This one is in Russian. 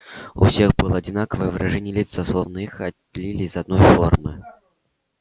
и у всех было одинаковое выражение лица словно их отлили из одной формы